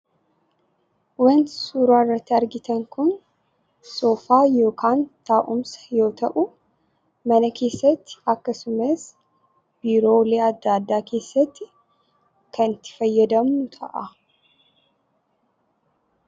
Wanti suuraa irratti argitan kun soofaa yookaan taa'umsa yoo ta'u, mana keessatti akkasumas biiroolee adda addaa keessatti kan itti fayyadamnu ta'a.